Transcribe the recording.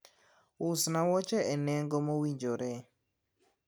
usna wuoche e nengo mowinjore